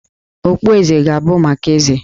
Okpueze ga-abụ maka Eze